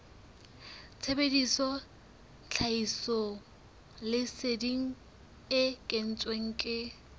sebedisa tlhahisoleseding e kentsweng ke